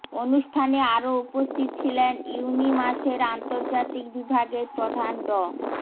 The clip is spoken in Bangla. অনুষ্ঠানে আরো উপস্থিত ছিলেন ইউনিমাসের আন্তর্জাতিক বিভাগের প্রধান ড